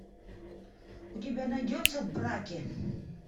у тебя найдется в браке